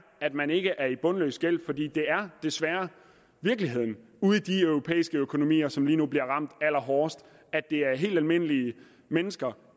at man ikke er i bundløs gæld for det er desværre virkeligheden ude i de europæiske økonomier som lige nu bliver ramt allerhårdest det er helt almindelige mennesker